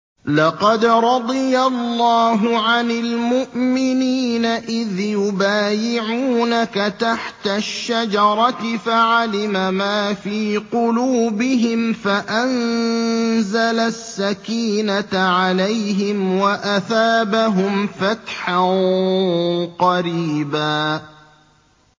۞ لَّقَدْ رَضِيَ اللَّهُ عَنِ الْمُؤْمِنِينَ إِذْ يُبَايِعُونَكَ تَحْتَ الشَّجَرَةِ فَعَلِمَ مَا فِي قُلُوبِهِمْ فَأَنزَلَ السَّكِينَةَ عَلَيْهِمْ وَأَثَابَهُمْ فَتْحًا قَرِيبًا